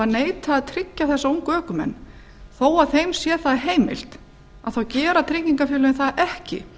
neitað að tryggja þessa ungu ökumenn þó að þeim sé það heimilt gera tryggingafélögin það ekki